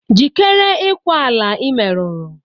Jikere ikwa ala i meruru!